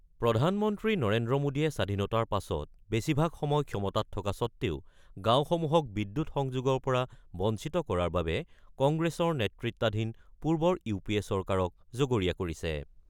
প্ৰধানমন্ত্ৰী নৰেন্দ্ৰ মোদীয়ে স্বাধীনতাৰ পাছত বেছিভাগ সময় ক্ষমতাত থকা স্বত্বেও গাঁওসমূহক বিদ্যুৎ সংযোগৰ পৰা বঞ্চিত কৰাৰ বাবে কংগ্ৰেছৰ নেতৃত্বাধীন পূৰ্বৰ ইউ পি এ চৰকাৰক জগৰীয়া কৰিছে।